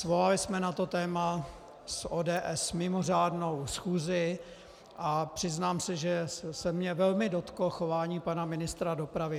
Svolali jsme na to téma s ODS mimořádnou schůzi a přiznám se, že se mě velmi dotklo chování pana ministra dopravy.